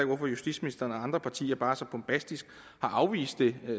hvorfor justitsministeren og andre partier bare så bombastisk har afvist det